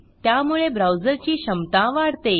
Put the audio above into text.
त्यामुळे ब्राऊजरची क्षमता वाढते